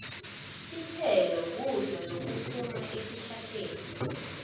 titselo kudla lokuphuma etihlahleni